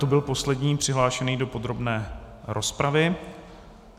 To byl poslední přihlášený do podrobné rozpravy.